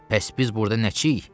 Bəs biz burda nəçiyik?